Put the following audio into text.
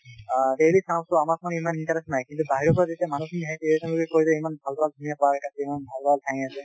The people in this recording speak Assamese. আ এৰি চাওঁটো আমাক মানে ইমান interest নাই কিন্তু বাহিৰৰ পৰা যেতিয়া মানু্হ খিনি আহে ইমান ভাল ভাল ধুনীয়া park আছে , ইমান ভাল ভাল ঠাই আছে